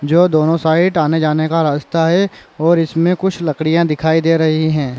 जो दोनो साइड आने-जाने का रास्ता है और इसमे कुछ लकड़ियाँ दिखाई दे रही है।